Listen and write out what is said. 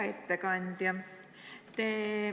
Hea ettekandja!